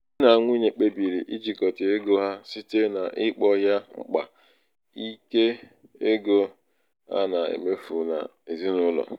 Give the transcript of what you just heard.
di na nwunye kpebiri ijikọta ego ha site n'ịkpọ ya mkpa ike ego a na-emefu n'ezinụlọ.